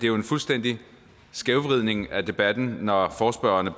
er en fuldstændig skævvridning af debatten når forespørgerne